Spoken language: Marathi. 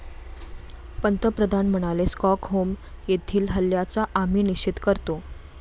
पंतप्रधान म्हणाले, स्टॉकहोम येथील हल्ल्याचा आम्ही निषेध करतो.